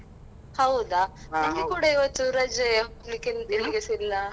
ಹೌದಾ ನಮ್ಗೆ ಕೂಡ ಇವತ್ತು ರಜೆ ಹೋಗ್ಲಿಕ್ಕೆ ಎಲ್ಲಿಗೆಸಾ ಇಲ್ಲಾ.